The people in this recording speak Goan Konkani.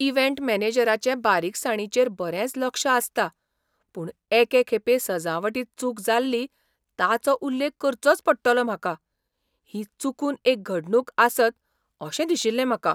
इव्हेंट मॅनेजराचें बारीकसाणींचेर बरेंच लक्ष आसता. पूण एके खेपे सजावटींत चूक जाल्ली ताचो उल्लेख करचोच पडटलो म्हाका. ही चुकून एक घडणूक आसतअशें दिशिल्लें म्हाका.